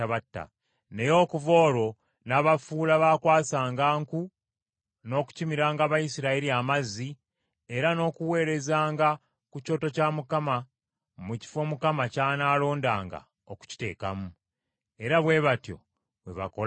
Naye okuva olwo n’abafuula baakwasanga nku n’okukimiranga Abayisirayiri amazzi, era n’okuweerezanga ku kyoto kya Mukama mu kifo Mukama ky’anaalondanga okukiteekamu. Era bwe batyo bwe bakola ne leero.